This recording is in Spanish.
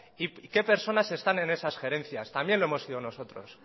y qué personas están en esas gerencias también lo hemos sido nosotros